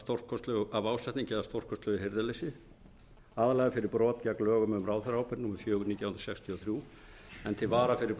sama ár af ásetningi eða stórkostlegu hirðuleysi aðallega fyrir brot gegn lögum um ráðherraábyrgð númer fjögur nítján hundruð sextíu og þrjú en til vara fyrir